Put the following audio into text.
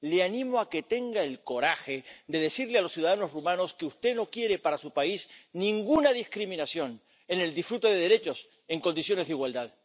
La animo a que tenga el coraje de decirle a los ciudadanos rumanos que usted no quiere para su país ninguna discriminación en el disfrute de derechos en condiciones de igualdad.